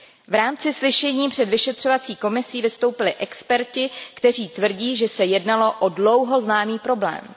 V rámci slyšení před vyšetřovacím výborem vystoupili experti, kteří tvrdí, že se jednalo o dlouho známý problém.